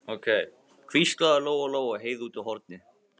hvíslaði Lóa Lóa að Heiðu úti í horni.